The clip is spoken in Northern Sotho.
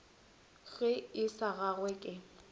ge e sa gangwe ke